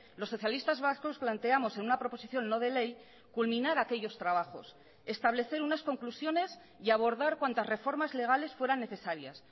los socialistas vascos planteamos en una proposición no de ley culminar aquellos trabajos establecer unas conclusiones y abordar cuantas reformas legales fueran necesarias